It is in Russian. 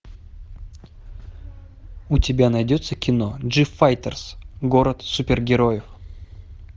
у тебя найдется кино джифайтерс город супергероев